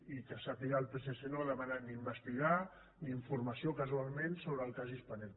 i que jo sàpiga el psc no ha demanat ni investigar ni informació casualment sobre el cas spanair